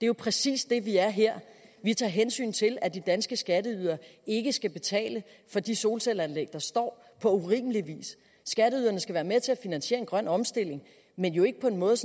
jo præcis det vi er her vi tager hensyn til at de danske skatteydere ikke skal betale for de solcelleanlæg der står på urimelig vis skatteyderne skal være med til at finansiere en grøn omstilling men jo ikke på en måde